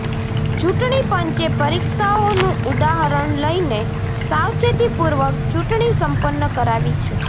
ચૂંટણી પંચે પરીક્ષાઓનુ ઉદાહરણ લઈને સાવચેતીપૂર્વક ચૂંટણી સંપન્ન કરાવી છે